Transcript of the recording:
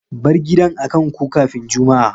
Bar gidan a kan ko kafin Jumma'a!